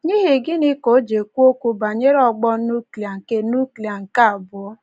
N’ihi gịnị ka o ji ekwu okwu banyere ọgbọ nuklia nke nuklia nke abụọ?